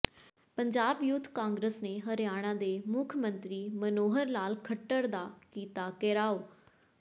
Punjab youth Congress ਨੇ ਹਰਿਆਣਾ ਦੇ ਮੁੱਖ ਮੰਤਰੀ ਮਨੋਹਰ ਲਾਲ ਖੱਟਰ ਦਾ ਕੀਤਾ ਘਿਰਾਉ